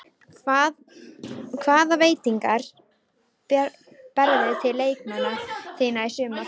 Hvaða væntingar berðu til leikmanna þinna í sumar?